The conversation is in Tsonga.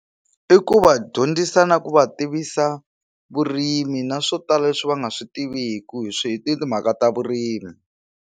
I ku va dyondzisa na ku va tivisa vurimi na swo tala leswi va nga swi tiviku hi swi hi timhaka ta vurimi.